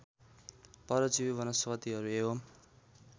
परजीवी वनस्पतिहरू एवम्